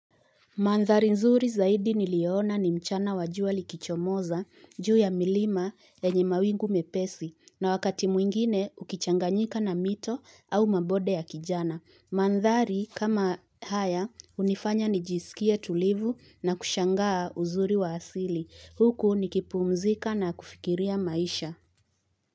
Mandhari nzuri zaidi niliona ni mchana wa jua likichomoza, juu ya milima, yenye mawingu mepesi, na wakati mwingine ukichanganyika na mito au mabonde ya kijani. Mandhari kama haya, hunifanya nijisikie tulivu na kushangaa uzuri wa asili. Huku nikipumzika na kufikiria maisha.